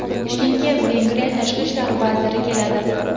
Toshkentga Vengriya tashqi ishlar vaziri keladi.